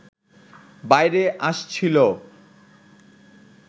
বাইরে আসছিল